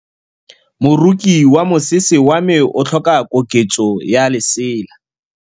Moroki wa mosese wa me o tlhoka koketsô ya lesela.